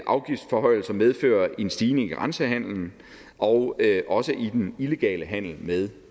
afgiftsforhøjelser medfører en stigning i grænsehandelen og også i den illegale handel med